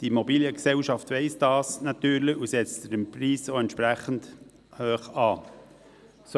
Die Immobiliengesellschaft weiss das natürlich und setzt den Preis entsprechend hoch an.